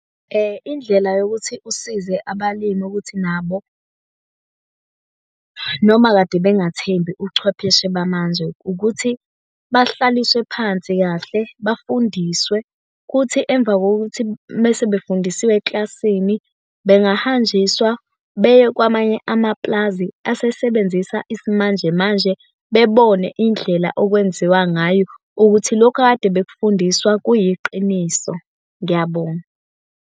Indlela yokuthi usize abalimi ukuthi nabo, noma kade bengathembi uchwepheshe bamanje ukuthi, bahlaliswe phansi kahle, bafundiswe, kuthi emva kokuthi mese befundiswe eklasini, bengahanjiswa beye kwamanye amapulazi asesebenzisa isimanje manje bebone indlela okwenziwa ngayo ukuthi lokhu akade befundiswa kuyiqiniso. Ngiyabonga.